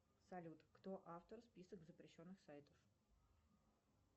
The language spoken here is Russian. салют кто автор список запрещенных сайтов